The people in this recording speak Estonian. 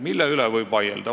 Mille üle võib vaielda?